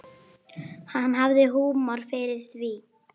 Hann hafði húmor fyrir því.